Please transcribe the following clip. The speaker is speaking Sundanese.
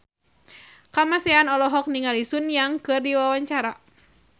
Kamasean olohok ningali Sun Yang keur diwawancara